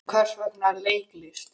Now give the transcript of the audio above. En hvers vegna leiklist?